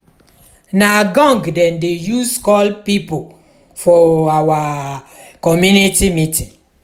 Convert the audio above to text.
na gong dem dey use call pipo for our community meeting.